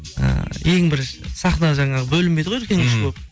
і ең бірінші сахна жаңағы бөлінбейді ғой үлкен кіші болып